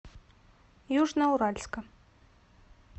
южноуральска